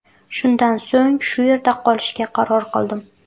Shundan so‘ng shu yerda qolishga qaror qildim.